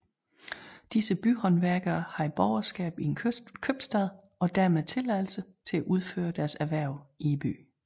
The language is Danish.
Disse byhåndværkere havde borgerskab i en købstad og dermed tilladelse til at udføre deres erhverv i byen